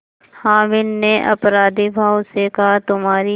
हामिद ने अपराधीभाव से कहातुम्हारी